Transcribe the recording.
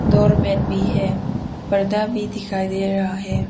Doormat भी है पर्दा भी दिखाई दे रहा है।